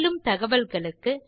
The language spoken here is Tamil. மேலும் தகவல்களுக்கு